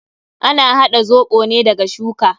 Ana haɗa zoɓo ne daga shuka.